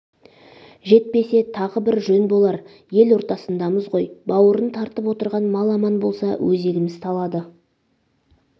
жетпесе тағы бр жөн болар ел ортасындамыз ғой бауырын тартып отырған мал аман болса өзегіміз талады